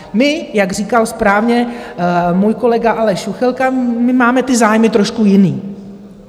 My, jak říkal správně můj kolega Aleš Juchelka, my máme ty zájmy trošku jiné.